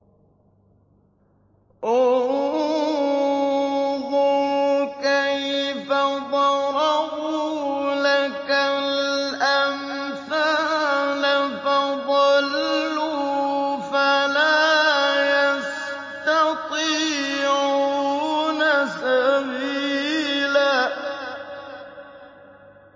انظُرْ كَيْفَ ضَرَبُوا لَكَ الْأَمْثَالَ فَضَلُّوا فَلَا يَسْتَطِيعُونَ سَبِيلًا